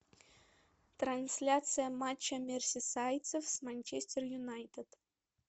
трансляция матча мерсисайдцев с манчестер юнайтед